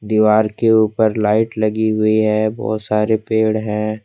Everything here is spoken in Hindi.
दीवार के ऊपर लाइट लगी हुई है बहुत सारे पेड़ हैं।